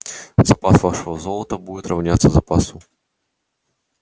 запас вашего золота будет равняться запасу